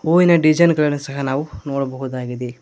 ಹೂವಿನ ಡಿಜನ್ ಸಹ ನಾವು ಇಲ್ಲಿ ನೋಡಬಹುದಾಗಿದೆ.